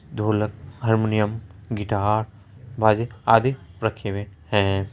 ढोलक harmonium guitar माजे आदि रखे हुए हैं।